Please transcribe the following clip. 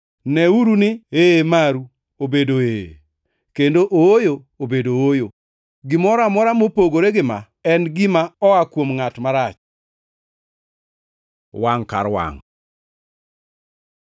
Neuru ni ‘Ee maru’ obedo ‘Ee,’ kendo ‘Ooyo’ obedo ‘Ooyo.’ Gimoro amora mopogore gimaa en gima oa kuom ngʼat marach. Wangʼ kar wangʼ